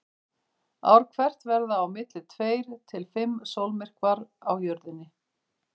Ár hvert verða á milli tveir til fimm sólmyrkvar á Jörðinni.